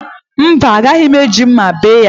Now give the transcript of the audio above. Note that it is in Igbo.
Mba, agaghị m eji mma bee ya